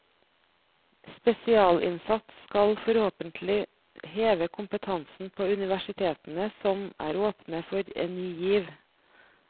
Spesialinnsats skal forhåpentlig heve kompetansen på universitetene, som er åpne for en ny giv.